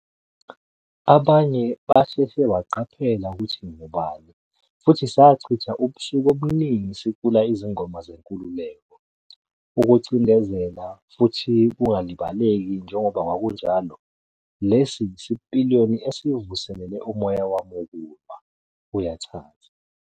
"Abanye basheshe baqaphela ukuthi ngingubani futhi sachitha ubusuku obuningi sicula izingoma zenkululeko. Ukucindezela futhi kungalibaleki njengoba kwakunjalo, lesi yisipiliyoni esivuselele umoya wami wokulwa", uyachaza.